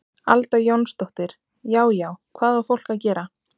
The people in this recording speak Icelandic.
Alda Jónsdóttir: Já já, hvað á fólkið að gera?